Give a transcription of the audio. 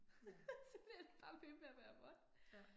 Ja. Ja